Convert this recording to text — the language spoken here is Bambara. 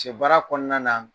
baara kɔnɔna na